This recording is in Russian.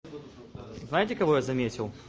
знаете кого я заметил